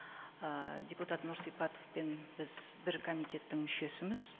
ы депутат нұрсипатовпен біз бір комитеттің мүшесіміз